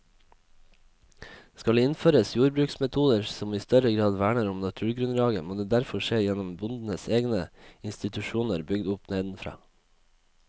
Skal det innføres jordbruksmetoder som i større grad verner om naturgrunnlaget, må det derfor skje gjennom bøndenes egne institusjoner bygd opp nedenfra.